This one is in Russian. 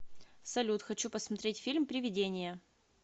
салют хочу посмотреть фильм привидения